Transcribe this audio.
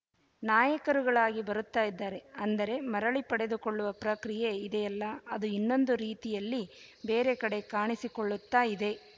ನಾಯಕರುಗಳಾಗಿ ಬರುತ್ತಾ ಇದ್ದಾರೆ ಅಂದರೆ ಮರಳಿ ಪಡೆದು ಕೊಳ್ಳುವ ಪ್ರಕ್ರಿಯೆ ಇದೆಯಲ್ಲ ಅದು ಇನ್ನೊಂದು ರೀತಿಯಲ್ಲಿ ಬೇರೆ ಕಡೆ ಕಾಣಿಸಿಕೊಳ್ಳುತ್ತಾ ಇದೆ